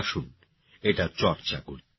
আসুন এটার চর্চা করি